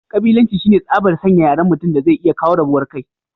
kabilanci shine tsabar San yaren mutum daze iya kawo rabuwar kai